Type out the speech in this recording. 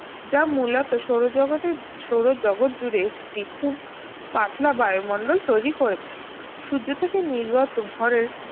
যা মূলত সৌরজগতের সৌর জগত জুড়ে একটি খুব পাতলা বায়ুমণ্ডল তৈরি করেছে সূর্য থেকে নির্গত ঘরের